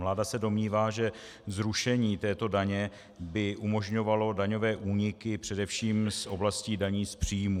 Vláda se domnívá, že zrušení této daně by umožňovalo daňové úniky především z oblastí daní z příjmů.